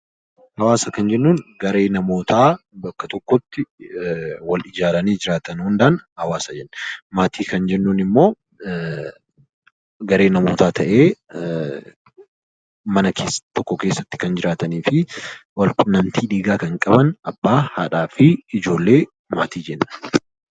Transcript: Hawaasa kan jennuun garee namootaa bakka tokkotti wal ijaaranii jiraatan hundaan hawaasa jenna. Maatii kan jennuun immoo garee namootaa ta'ee mana tokko keessa kan waliin jiraatanii fi hariiroo dhiigaa kan qaban abbaa, haadhaa fi ijoollee maatii jennaan.